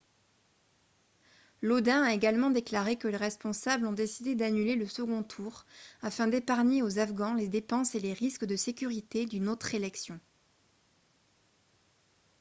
lodin a également déclaré que les responsables ont décidé d'annuler le second tour afin d'épargner aux afghans les dépenses et les risques de sécurité d'une autre élection